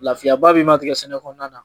Lafiyaba bɛ ma tigɛ sɛnɛ kɔnɔna na